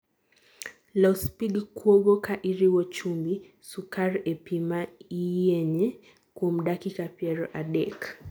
Los pig kuogo ka iriwo chumbi, sukar e pi ma iyienye kuom dakika piero adek